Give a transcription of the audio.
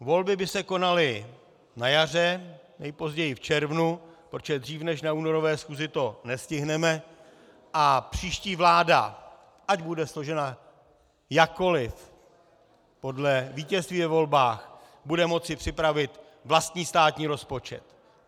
Volby by se konaly na jaře, nejpozději v červnu, protože dřív než na únorové schůzi to nestihneme, a příští vláda, ať bude složena jakkoli, podle vítězství ve volbách bude moci připravit vlastní státní rozpočet.